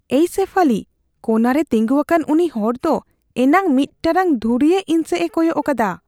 ᱮᱭ ᱥᱮᱯᱷᱟᱞᱤ, ᱠᱳᱱᱟ ᱨᱮ ᱛᱤᱸᱜᱩᱣᱟᱠᱟᱱ ᱩᱱᱤ ᱦᱚᱲ ᱫᱚ ᱮᱱᱟᱱ ᱢᱤᱫ ᱴᱟᱲᱟᱝ ᱫᱷᱩᱨᱤᱭᱟᱹ ᱤᱧ ᱥᱮᱡᱮ ᱠᱚᱭᱚᱜ ᱟᱠᱟᱫᱟ ᱾